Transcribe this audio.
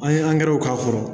An ye k'a kɔrɔ